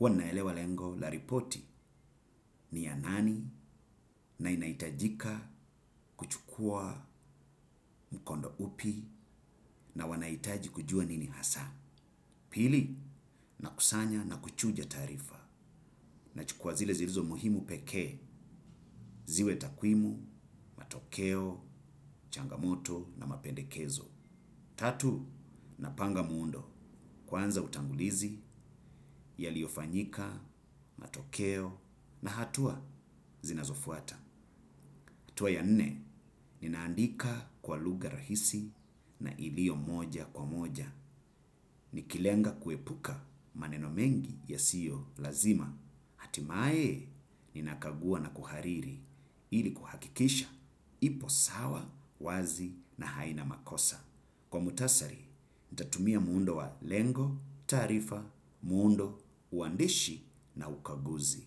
uwa naelewa lengo la ripoti ni ya nani na inaitajika kuchukua mkondo upi na wanaitaji kujua nini hasa. Pili, nakusanya na kuchuja taarifa nachukua zile zilizo muhimu pekee, ziwe takwimu, matokeo, changamoto na mapendekezo. Tatu, napanga muundo. Kwanza utangulizi, yaliofanyika, matokeo, na hatua zinazofuata. Hatua ya nne, ninaandika kwa luga rahisi na ilio moja kwa moja. Nikilenga kuepuka maneno mengi yasio lazima. Hatimae, ninakagua na kuhariri ili kuhakikisha. Ipo sawa wazi na haina makosa. Kwa mutasari, ntatumia muundo wa lengo, taarifa, muundo, uandishi na ukaguzi.